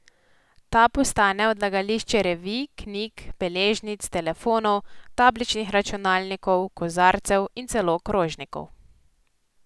Ta postane odlagališče revij, knjig, beležnic, telefonov, tabličnih računalnikov, kozarcev in celo krožnikov.